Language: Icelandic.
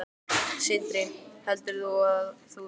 Sindri: Heldur þú að þú vinnir?